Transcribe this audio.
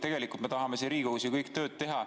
Tegelikult me kõik ju tahame siin Riigikogus tööd teha.